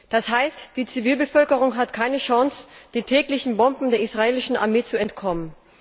Das heißt, die Zivilbevölkerung hat keine Chance, den täglichen Bomben der israelischen Armee zu entkommen.